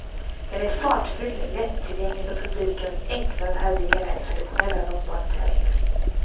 Den är fartfylld, lättillgänglig för publiken och enklare att härbärgera än traditionella långbanetävlingar.